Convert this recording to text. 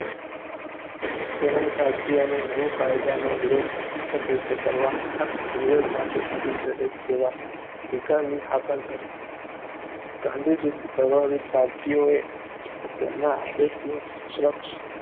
તેમણે ભારતીયોને નવા કાયદાનો વિરોધ અહિંસક રીતે કરવા અને વિરોધ માટે થતી જરીક સેવા સ્વીકારવાની હાકલ કરી. ગાંધીજીથી પ્રભાવિત ભારતીયોએ તેમના આદેશનું અક્ષરશઃ